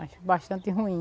Acho bastante ruim.